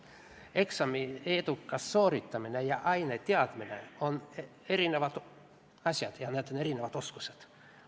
Eksami edukas sooritamine ja aine teadmine on erinevad asjad ja need on erinevad oskused.